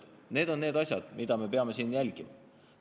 Need on need asjad, mida me peame siin jälgima.